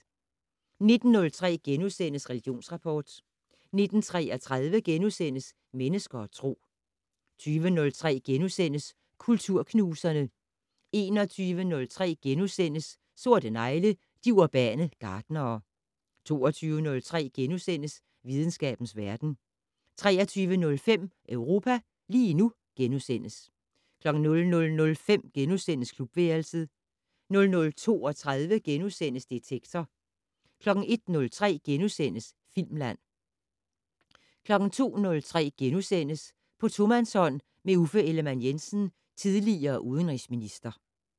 19:03: Religionsrapport * 19:33: Mennesker og Tro * 20:03: Kulturknuserne * 21:03: Sorte negle: De urbane gartnere * 22:03: Videnskabens verden * 23:05: Europa lige nu * 00:05: Klubværelset * 00:32: Detektor * 01:03: Filmland * 02:03: På tomandshånd med Uffe Ellemann-Jensen, tidl. udenrigsminister *